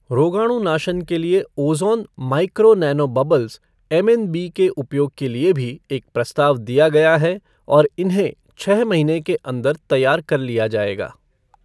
रोगाणुनाशन के लिए ozone micro nano bubbles MNB के उपयोग के लिए भी एक प्रस्ताव दिया गया है और इन्हें छः महीने के अन्दर तैयार कर लिया जाएगा।